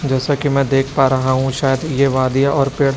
जैसा कि मैं देख पा रहा हूं शायद ये वादियां और पेड़--